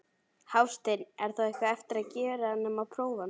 Hafsteinn: Er þá eitthvað eftir að gera nema prófa hann?